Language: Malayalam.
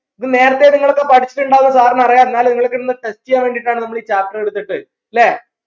ഇത് നേരത്തെ നിങ്ങളൊക്കെ പഠിച്ചിട്ടുണ്ടാവും എന്ന് sir ന് അറിയാ എന്നാലും നിങ്ങൾക്ക് ഇന്ന് test ചെയ്യാൻ വേണ്ടീട്ടാണ് നമ്മൾ ഈ chapter എടുത്തിട്ട് ല്ലേ